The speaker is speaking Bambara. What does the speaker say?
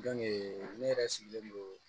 ne yɛrɛ sigilen don